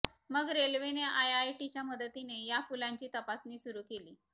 मग रेल्वेने आयआयटीच्या मदतीने या पुलांची तपासणी सुरू केली